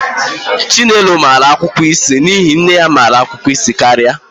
Chinelo nwere ọgụgụ isi n'ihi na nne ya nwere ọgụgụ isi karịa